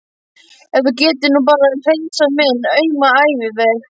Ef þú gætir nú bara hreinsað minn auma æviveg.